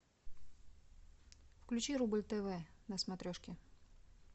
включи рубль тв на смотрешке